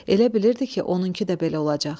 Elə bilirdi ki, onunku da belə olacaq.